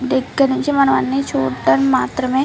దగ్గర నుంచి మనం అన్ని చూడటం మాత్రమే --